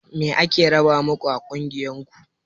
Me ake raba maku a ƙungiyar ku?